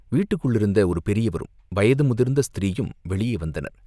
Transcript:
வீட்டுக்குள்ளிருந்த ஒரு பெரியவரும், வயது முதிர்ந்த ஸ்திரீயும் வெளியே வந்தனர்.